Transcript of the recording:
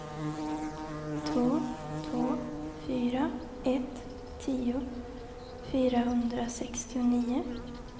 två två fyra ett tio fyrahundrasextionio